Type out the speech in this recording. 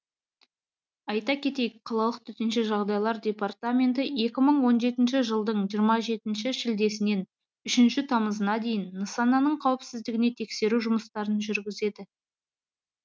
айта кетейік қалалық төтенше жағдайлар департаменті екі мың он жетінші жылдың жиырма жетінші шілдесінен үшінші тамызына дейін нысанның қауіпсіздігіне тексеру жұмыстарын жүргізген